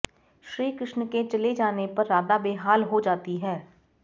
श्रीकृष्ण के चले जाने पर राधा बेहाल हो जाती है